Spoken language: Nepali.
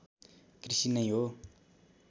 कृषि नै हो